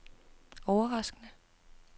overraskende